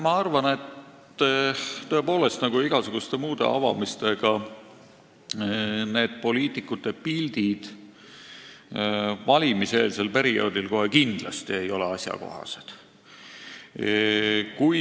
Ma arvan, et nii nagu igasuguste muude avamiste puhul ei ole poliitikute pildid valimiseelsel perioodil kohe kindlasti asjakohased.